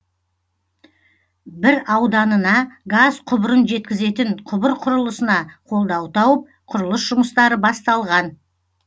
бір ауданына газ құбырын жеткізетін құбыр құрылысына қолдау тауып құрылыс жұмыстары басталған